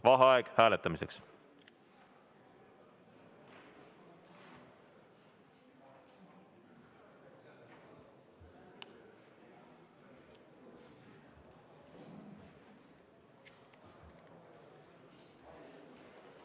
Vaheaeg hääletamiseks.